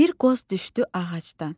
Bir qoz düşdü ağacdan.